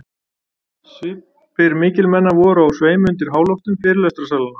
Svipir mikilmenna voru á sveimi undir háloftum fyrirlestrarsalanna.